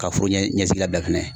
Ka foro ɲɛsigi ka bila fɛnɛ